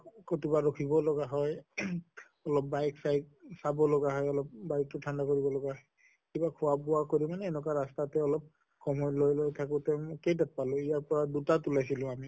কতোবা ৰখিব লগিয়া হয় ing অলপ bike চিইক চাব লগা হয় অলপ bike টো ঠাণ্ডা কৰিব লগা কিবা খোৱা বোৱা কৰি কিনে এনেকুৱা ৰাস্তাতে অলপ লগত থাকোতে কেইটাত্পালো ইয়াৰ পৰা দুটাত ওলাইছিলো আমি।